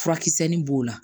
Furakisɛ nin b'o la